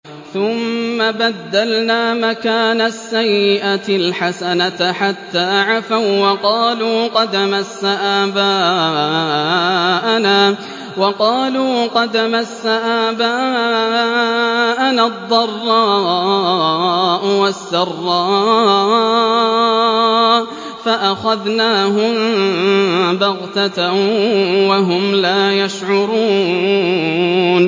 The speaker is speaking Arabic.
ثُمَّ بَدَّلْنَا مَكَانَ السَّيِّئَةِ الْحَسَنَةَ حَتَّىٰ عَفَوا وَّقَالُوا قَدْ مَسَّ آبَاءَنَا الضَّرَّاءُ وَالسَّرَّاءُ فَأَخَذْنَاهُم بَغْتَةً وَهُمْ لَا يَشْعُرُونَ